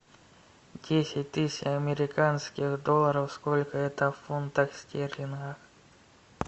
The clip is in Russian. десять тысяч американских долларов сколько это в фунтах стерлингах